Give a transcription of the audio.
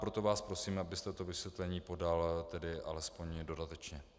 Proto vás prosím, abyste to vysvětlení podal tedy alespoň dodatečně.